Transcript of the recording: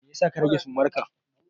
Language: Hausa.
Me yasa ka rage sumarka?